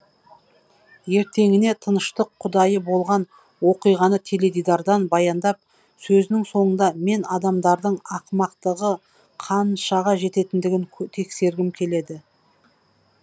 ертеңіне тыныштық құдайы болған оқиғаны теледидардан баяндап сөзінің соңында мен адамдардың ақымақтығы қаншаға жететіндігін тексергім келді